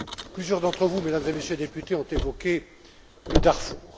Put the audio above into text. Plusieurs d'entre vous, Mesdames et Messieurs les députés, ont évoqué le Darfour.